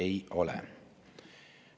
" Ei, ei ole.